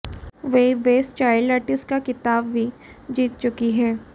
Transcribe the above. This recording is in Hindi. वे बेस्ट चाइल्ड आर्टिस्ट का खिताब भी जीत चुकी हैं